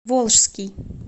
волжский